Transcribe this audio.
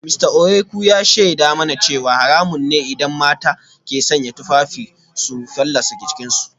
Mista Ohieku ya shaida mana cewa haramun ne idan mata ke sanya tufafi su fallasa jikinsu